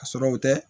Ka sɔrɔ u tɛ